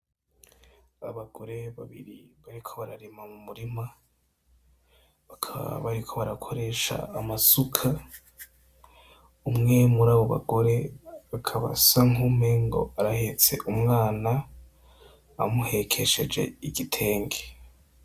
Abagore babiri bariko bararima mu murima, bakaba bariko barakoresha amasuka. Umwe muri abo bagore, akaba asa nk'uwumengo arahetse umwana, amuhekesheje igitenge.